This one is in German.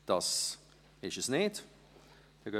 – Dies ist nicht der Fall.